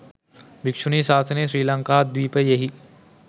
භික්‍ෂුණී ශාසනය ශ්‍රී ලංකාද්වීපයෙහි